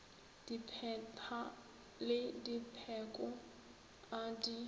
dipheta le dipheko a di